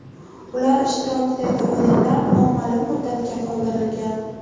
Ular ishtirokidagi o‘yinlar noma’lum muddatga qoldirilgan.